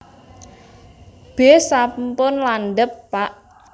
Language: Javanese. B sampun landhep pak